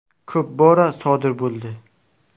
Ko‘p bora sodir bo‘ldi.